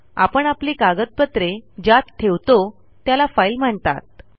आपण आपली कागदपत्रे ज्यात ठेवतो त्याला फाईल म्हणतात